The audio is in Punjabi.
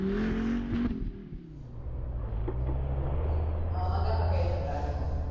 ਆਵਾਂਗੇ ਆਪਾਂ ਕਿਹੇ ਦਿਨ ਤਾੜੇ ਕੋਲ।